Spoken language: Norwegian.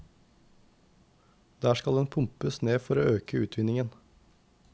Der skal den pumpes ned for å øke utvinningen.